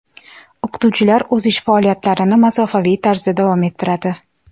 O‘qituvchilar o‘z ish faoliyatlarini masofaviy tarzda davom ettiradi.